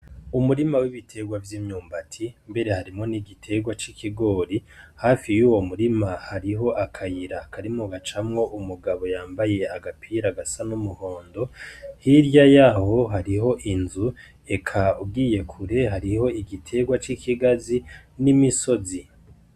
Umurima wibitegwa vy'imyumbati mbere harimwo n'igitegwa c'ikigori hafi yuwo murima hariho akayira kariko gacamwo umugabo yambaye agapira gasa n'umuhondo hirya yaho hariho inzu eka ugiye kure hariho igitegwa c'ikigazi n'imisozi.